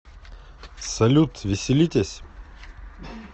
салют веселитесь